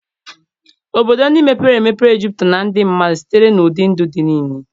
Obodo ndị mepere emepe juputara na ndị mmadụ sitere n'ụdị ndụ dị nile.